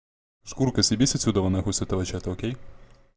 шкурка съебись отсюда нахуй с этого чата окей